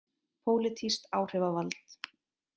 Pólitískt áhrifavald.